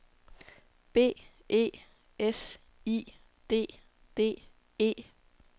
B E S I D D E